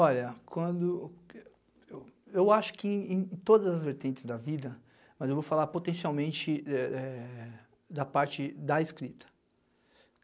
Olha, quando... Eu acho que em todas as vertentes da vida, mas eu vou falar potencialmente, eh... da parte da escrita.